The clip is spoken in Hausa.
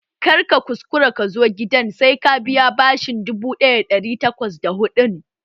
Kar ka kuskura ka zo gidana sai ka biya bashin dubu ɗaya da ɗari takwas da hudun!